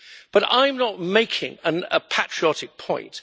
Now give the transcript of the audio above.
But I am not making a patriotic point.